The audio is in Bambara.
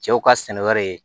Cɛw ka sɛnɛ wɛrɛ ye